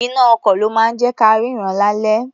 Iná-ọkọ̀ ló máa ń jẹ́ ka rínran lálẹ́.